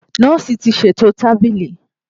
Nọọsi ti ṣeto tabili.